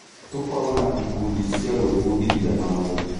Tũkorwo na ikundi cia gwĩbundithia hamwe.